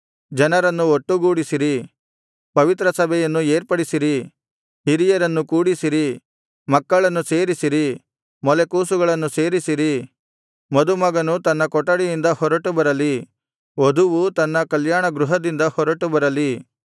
ಜನರನ್ನು ಒಟ್ಟುಗೂಡಿಸಿರಿ ಪವಿತ್ರ ಸಭೆಯನ್ನು ಏರ್ಪಡಿಸಿರಿ ಹಿರಿಯರನ್ನು ಕೂಡಿಸಿರಿ ಮಕ್ಕಳನ್ನು ಸೇರಿಸಿರಿ ಮೊಲೆಕೂಸುಗಳನ್ನು ಸೇರಿಸಿರಿ ಮದುಮಗನು ತನ್ನ ಕೊಠಡಿಯಿಂದ ಹೊರಟುಬರಲಿ ವಧುವು ತನ್ನ ಕಲ್ಯಾಣಗೃಹದಿಂದ ಹೊರಟುಬರಲಿ